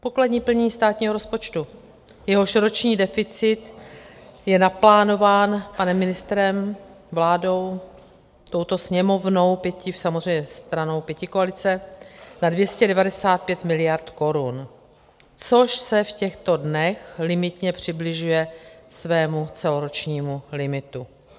Pokladní plnění státního rozpočtu, jehož roční deficit je naplánován panem ministrem, vládou, touto Sněmovnou, samozřejmě stranou pětikoalice, na 295 miliard korun, což se v těchto dnech limitně přibližuje svému celoročnímu limitu.